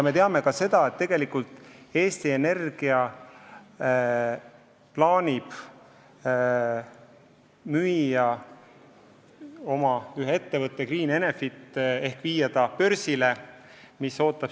Me teame ka seda, et Eesti Energia plaanib ühe oma ettevõtte, Enefit Greeni börsile viia.